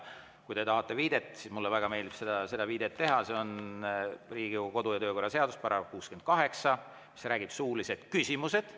Kui te tahate viidet, siis mulle väga meeldib seda viidet teha: see on Riigikogu kodu‑ ja töökorra seaduse § 68, mis räägib suulistest küsimustest.